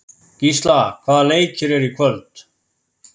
Gísla, hvaða leikir eru í kvöld?